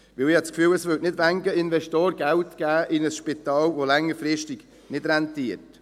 Denn ich habe das Gefühl, es würden nicht viele Investoren Geld in ein Spital geben, das längerfristig nicht rentiert.